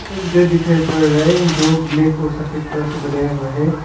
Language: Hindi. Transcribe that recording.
एक घर दिखाई पड़ रहा है जो ब्लैक और सफेद कलर से बनाया हुआ है।